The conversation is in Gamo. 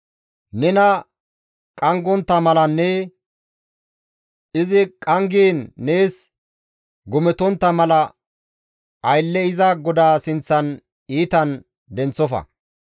«Nena qanggontta malanne izi qanggiin nees gometontta mala, aylle iza goda sinththan iitan denththofa.